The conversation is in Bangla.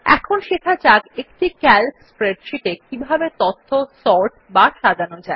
এখন শেখা যাক একটি ক্যালক স্প্রেডশীটে কিভাবে তথ্য সর্ট বা সাজানো যায়